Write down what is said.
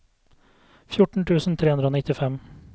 fjorten tusen tre hundre og nittifem